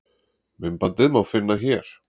Myndbandið má finna hér.